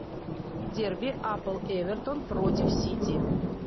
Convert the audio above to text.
дерби апл эвертон против сити